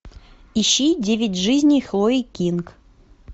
ищи девять жизней хлои кинг